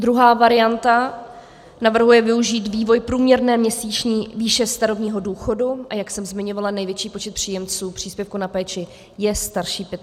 Druhá varianta navrhuje využít vývoj průměrné měsíční výše starobního důchodu, a jak jsem zmiňovala, největší počet příjemců příspěvku na péči je starší 65 let.